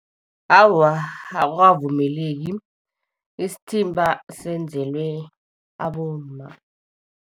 Awa akukavumeleki, isithimba senzelwe abomma.